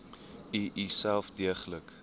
u uself deeglik